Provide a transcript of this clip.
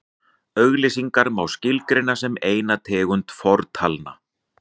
auglýsingar má skilgreina sem eina tegund fortalna